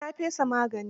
Eh, na fesa maganin.